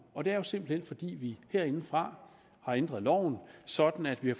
og det er jo simpelt hen fordi vi herindefra har ændret loven sådan at vi